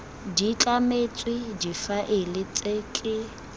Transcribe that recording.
di tlametswe difaele tse ke